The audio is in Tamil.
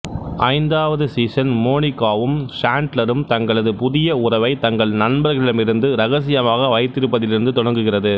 ஐந்தாவது சீசன் மோனிகாவும் சாண்ட்லரும் தங்களது புதிய உறவை தங்கள் நண்பர்களிடமிருந்து ரகசியமாக வைத்திருப்பதிலிருந்து தொடங்குகிறது